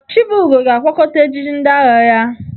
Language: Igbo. Chibugo ga-akwakọta ejiji ndị agha ya.